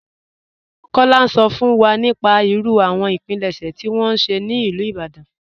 Kọla n sọ fún wa nípà ìrú àwọn ìpílẹ̀ṣẹ̀ tí wọn ṣẹ̀ ní Ilú Ìbàdàn..